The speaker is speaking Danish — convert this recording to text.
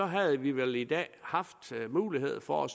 havde vi vel i dag haft mulighed for at